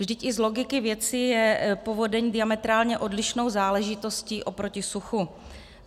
Vždyť i z logiky věci je povodeň diametrálně odlišnou záležitostí oproti suchu.